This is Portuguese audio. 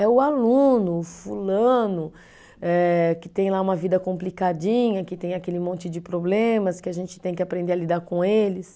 É o aluno, o fulano, eh que tem lá uma vida complicadinha, que tem aquele monte de problemas que a gente tem que aprender a lidar com eles.